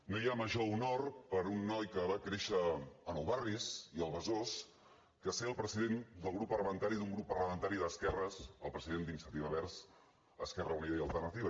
no hi ha major honor per un noi que va créixer a nou barris i al besòs que ser el president del grup parlamentari d’un grup parlamentari d’esquerres el president d’iniciativa verds esquerra unida i alternativa